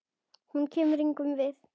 Hún kemur engum við.